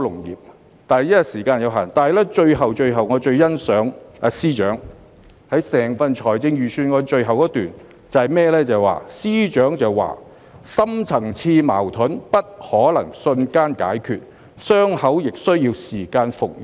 由於時間有限，我最欣賞整份預算案的最後一段，司長提到"深層次的矛盾不可能瞬間解決，傷口亦需要時間復元。